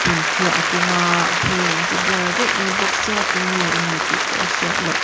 phiah a keng a a hmel an ti blur vek mai bawk sia tunge a ni tih pawh a hriat loh.